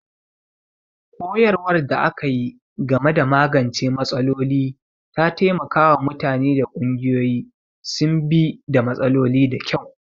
Koyarwar da aka yi game da magance matsaloli ta taimaka wa mutane da ƙungiyoyi su bi da matsaloli da kyau.